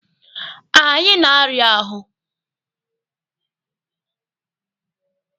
Anyị na-arịa ahụ.